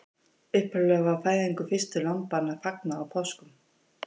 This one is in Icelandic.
Upphaflega var fæðingu fyrstu lambanna fagnað á páskum.